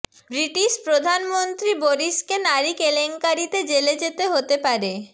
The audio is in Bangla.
ব্রিটিশ প্রধানমন্ত্রী বরিসকে নারী কেলেঙ্কারিতে জেলে যেতে হতে পারে